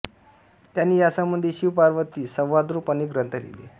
त्यांनी या संबंधी शिवपार्वती संवादरूप अनेक ग्रंथ लिहिले